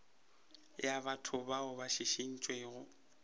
ya batho bao ba šišintšwego